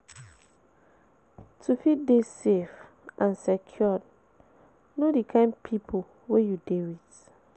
To fit de safe and secured Know di kind pipo wey you de with